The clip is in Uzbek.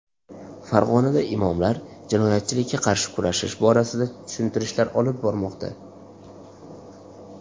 Farg‘onada imomlar jinoyatchilikka qarshi kurashish borasida tushuntirishlar olib bormoqda.